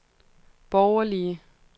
borgerlige